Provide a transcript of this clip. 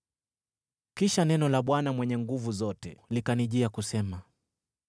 Kisha neno la Bwana Mwenye Nguvu Zote likanijia kusema: